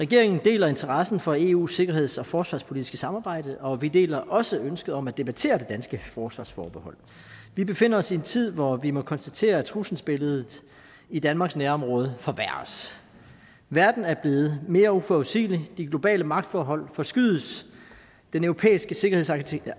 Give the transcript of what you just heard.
regeringen deler interessen for eus sikkerheds og forsvarspolitiske samarbejde og vi deler også ønsket om at debattere det danske forsvarsforbehold vi befinder os i en tid hvor vi må konstatere at trusselsbilledet i danmarks nærområde forværres verden er blevet mere uforudsigelig de globale magtforhold forskydes den europæiske sikkerhedsarkitektur